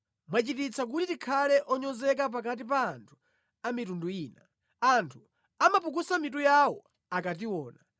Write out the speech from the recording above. Mwachititsa kuti tikhale onyozeka pakati pa anthu a mitundu ina; anthu amapukusa mitu yawo akationa.